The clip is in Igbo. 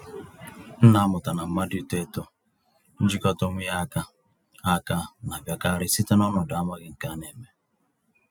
M na-amụta na mmadụ ito-eto njikọta onwe ya áká, áká, na-abịakarị site n'ọnọdụ amaghị nke a némè'.